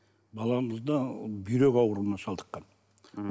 баламызда бүйрек ауруына шалдыққан м